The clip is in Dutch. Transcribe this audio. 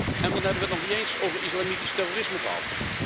En dan hebben we het nog niet eens over islamitisch terrorisme gehad.